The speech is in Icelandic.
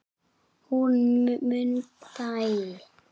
Hún Munda í